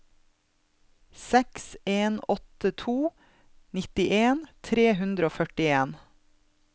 seks en åtte to nittien tre hundre og førtien